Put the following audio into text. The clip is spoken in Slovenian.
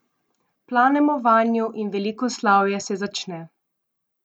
Planemo vanju in veliko slavje se začne!